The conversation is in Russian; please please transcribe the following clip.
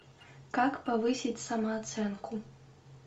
как повысить самооценку